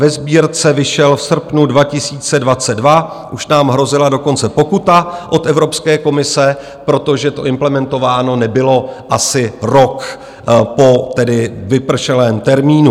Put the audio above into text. Ve Sbírce vyšel v srpnu 2022, už nám hrozila dokonce pokuta od Evropské komise, protože to implementováno nebylo asi rok po vypršelém termínu.